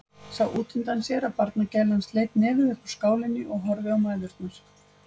Sá útundan sér að barnagælan sleit nefið upp úr skálinni og horfði á mæðurnar.